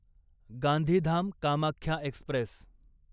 Gandhidham Kamakhya Express